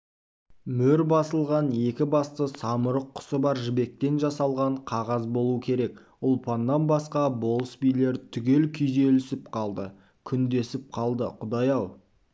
мөр басылған екі басты самұрық құсы бар жібектен жасалған қағаз болу керек ұлпаннан басқа болыс билер түгел күйзелісіп қалды күндесіп қалды құдай-ау